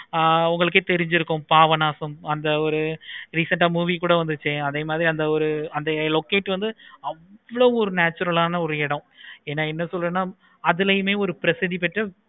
ஆஹ் உங்களுக்கே தெரிஞ்சிருக்கும். பாபநாசம் அந்த ஒரு recent ஆஹ் movie கூட இருக்கு. அந்த ஒரு அந்த locate வந்து அவ்வளோ ஒரு natural ஆஹ் இருக்கும். என என்ன சொல்றதுன்னா அதுலையுமே ஒரு